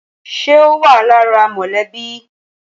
Ṣé o wa lára mọlẹbi?